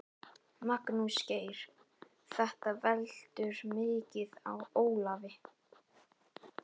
Magnús Geir: Þetta veltur mikið á Ólafi?